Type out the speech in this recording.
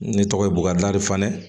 Ne tɔgɔ ye buwari fanɛ